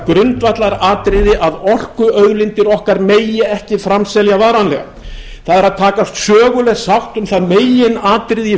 grundvallaratriði að orkuauðlindir okkar megi ekki framselja varanlega það er að takast söguleg sátt um það meginatriði í